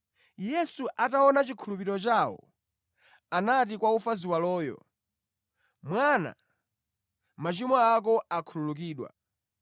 Yesu ataona chikhulupiriro chawo, anati kwa wofa ziwaloyo, “Mwana, machimo ako akhululukidwa.”